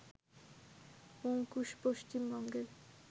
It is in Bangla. অংকুশ পশ্চিমবঙ্গের